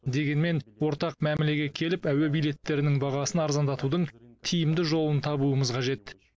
дегенмен ортақ мәмілеге келіп әуе билеттерінің бағасын арзандатудың тиімді жолын табуымыз қажет